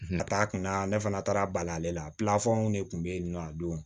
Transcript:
Ka taa kunna ne fana taara bali ale la ne kun bɛ yen nɔ a don